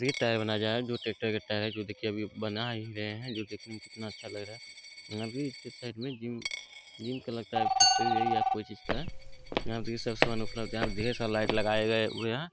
ये टायर बनाए जा रहे हैं जो ट्रैक्टर के टायर जो की अभी बना ही रहे हैं जो देखने में कितना अच्छा लग रहा है| अभी इसके साइड में जिम जिम का लगता है| फैक्टरी है यहाँ कोई चीज का | यहाँ यहाँ ढेर सारा लाईट लगाए हुए हैं।